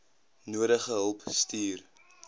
nodige hulp stuur